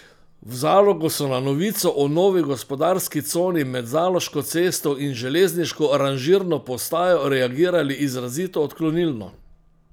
V Zalogu so na novico o novi gospodarski coni med Zaloško cesto in železniško ranžirno postajo reagirali izrazito odklonilno.